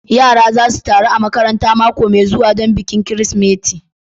Yara za su taru a harabar makarantar mako mai zuwa don bikin Kirsimeti.